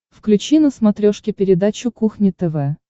включи на смотрешке передачу кухня тв